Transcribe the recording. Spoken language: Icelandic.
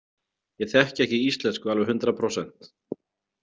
Ég þekki ekki íslensku alveg hundraðprósent.